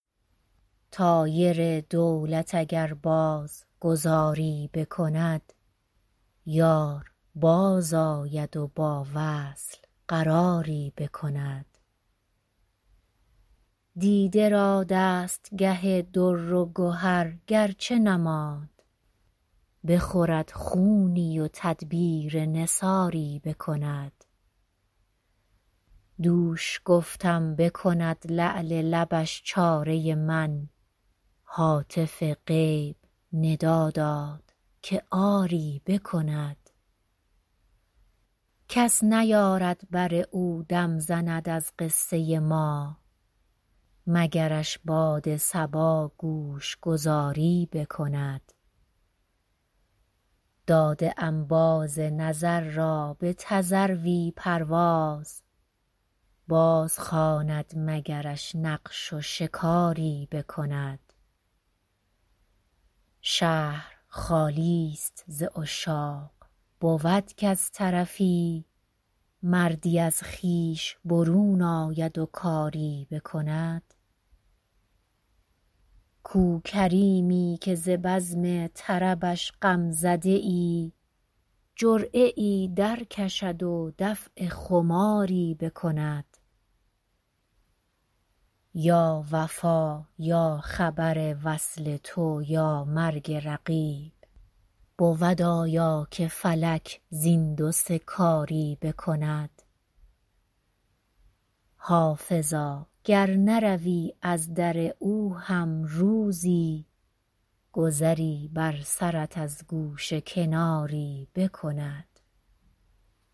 طایر دولت اگر باز گذاری بکند یار بازآید و با وصل قراری بکند دیده را دستگه در و گهر گر چه نماند بخورد خونی و تدبیر نثاری بکند دوش گفتم بکند لعل لبش چاره من هاتف غیب ندا داد که آری بکند کس نیارد بر او دم زند از قصه ما مگرش باد صبا گوش گذاری بکند داده ام باز نظر را به تذروی پرواز بازخواند مگرش نقش و شکاری بکند شهر خالی ست ز عشاق بود کز طرفی مردی از خویش برون آید و کاری بکند کو کریمی که ز بزم طربش غم زده ای جرعه ای درکشد و دفع خماری بکند یا وفا یا خبر وصل تو یا مرگ رقیب بود آیا که فلک زین دو سه کاری بکند حافظا گر نروی از در او هم روزی گذری بر سرت از گوشه کناری بکند